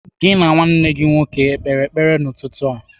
Gị na nwa nna gị o kpere ekpere n'ụtụtụ a?